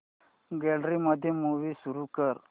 gallery मध्ये movie सुरू कर